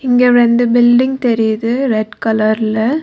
இங்க ரெண்டு பில்டிங் தெரியிது ரெட் கலர்ல .